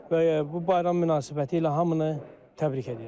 Bu bayram münasibətilə hamını təbrik edirəm.